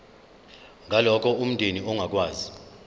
ngalokho umndeni ongakwazi